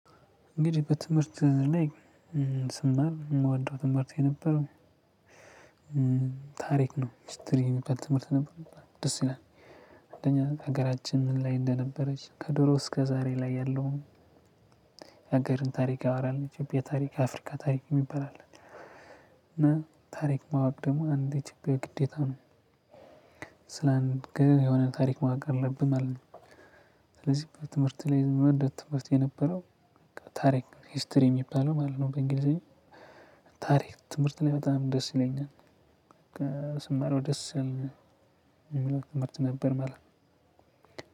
እንግዲህ በትምህርት ላይ ስማር የምወደው ትምህርት የነበረው ታሪክ ነው ሒስትሪ የሚባል ትምህርት ነበር። ደስ ይላል አንደኛ ሀገራችን ምን ላይ እንደነበረች ከድሮ እስከ ዛሬ ላይ ያለውን ሀገርን ታሪክ ያወራል። ኢትዮጵያ ታሪክ አፍሪካ ታሪክ የሚባል አለን እና ታሪክ ማወቅ ደግሞ አንድ ኢትዮጵያዊ ግዴታ ነው። ስለአንድ ግን የሆነ ታሪክ ማወቅ አለብህ ማለት ነው። ስለዚህ በትምህርት ላይ መደብ ትምህርት የነበረው ታሪክ ሂስትሪ የሚባለው ማለት ነው። በእንግሊዘኛ ታሪክ ትምህርት ላይ በጣም ደስ ይለኛል። ስማረው ደስ የሚል ትምህርት ነበር ማለት ነው።